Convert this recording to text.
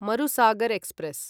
Marusagar express